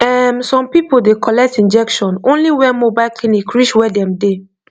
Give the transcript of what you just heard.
erm some people dey collect injection only when mobile clinic reach where dem dey